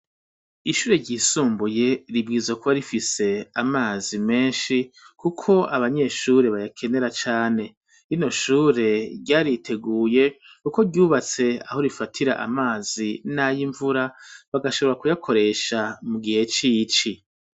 Ishure ryisumbuye ribwirizwa kuba rifise amazi menshi kuko abanyeshure bayakenera cane, rino shure ryariteguye kuko ryubatse aho rifatira amazi n'ayimvura bagashobora kuyakoresha mu gihe c'ici.